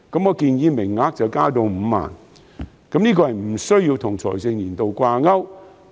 我建議名額增至5萬個，無須與財政年度掛鈎。